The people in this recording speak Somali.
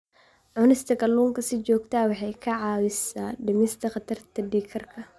Cunista kalluunka si joogto ah waxay caawisaa dhimista khatarta dhiig karka.